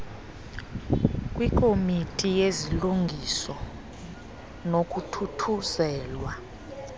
kwikomiti yezilungiso nokuthuthuzelwa